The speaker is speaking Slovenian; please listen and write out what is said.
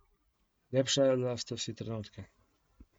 Lepšala sta si trenutke.